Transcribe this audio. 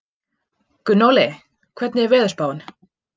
Gunnóli, hvernig er veðurspáin?